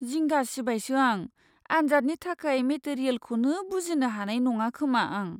जिंगासिबायसो आं, आनजादनि थाखाय मेटेरियेलखौनो बुजिनो हानाय नङाखोमा आं।